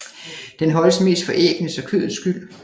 Den holdes mest for æggenes og kødets skyld